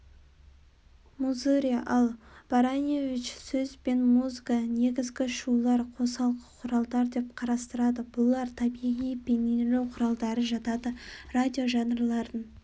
музыря ал баранеевич сөз бен музыка-негізгі шулар-қосалқы құралдар деп қарастырады бұлар табиғи бейнелеу құралдары жатады радиожанрларын